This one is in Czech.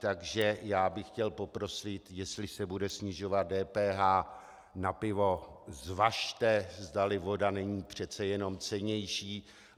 Takže já bych chtěl poprosit, jestli se bude snižovat DPH na pivo, zvažte, zdali voda není přece jenom cennější.